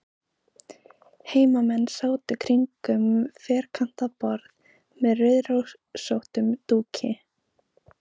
Heimamenn sátu kringum ferkantað borð með rauðrósóttum dúki.